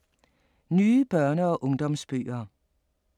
Nye børne- og ungdomsbøger